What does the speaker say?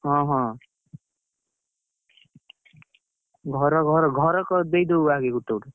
ହଁ ହଁ, ଘର ଘର ଘରେ ଦେଇଦବୁ ଆଗେ ଗୋଟେ ଗୋଟେ।